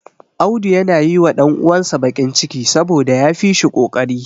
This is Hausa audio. Auda yana yi wa ɗan uwansa baƙin ciki, saboda ya fi shi ƙoƙari.